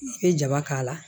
I bɛ jaba k'a la